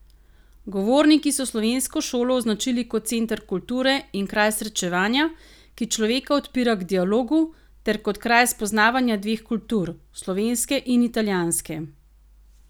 Govorniki so slovensko šolo označili kot center kulture in kraj srečevanja, ki človeka odpira k dialogu, ter kot kraj spoznavanja dveh kultur, slovenske in italijanske.